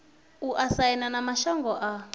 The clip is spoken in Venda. u aisana na mashango a